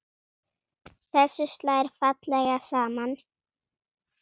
Þessu slær fallega saman.